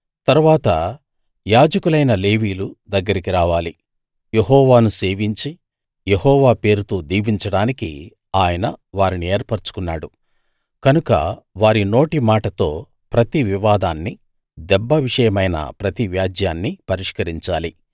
తరువాత యాజకులైన లేవీయులు దగ్గరికి రావాలి యెహోవాను సేవించి యెహోవా పేరుతో దీవించడానికి ఆయన వారిని ఏర్పరచుకున్నాడు కనుక వారి నోటి మాటతో ప్రతి వివాదాన్ని దెబ్బ విషయమైన ప్రతి వ్యాజ్యాన్ని పరిష్కరించాలి